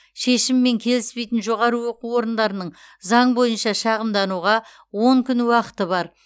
шешіммен келіспейтін жоғары оқу орынның заң бойынша шағымдануға он күн уақыты бар